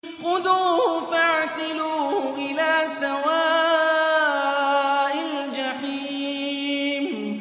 خُذُوهُ فَاعْتِلُوهُ إِلَىٰ سَوَاءِ الْجَحِيمِ